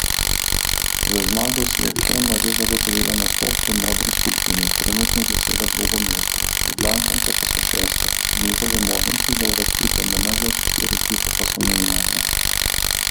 Z zmago si je Kema že zagotovila nastop v modri skupini, trenutno zaseda drugo mesto, Ljubljančanke pa so šeste, njihove možnosti za uvrstitev med najboljše štiri ekipe pa so minimalne.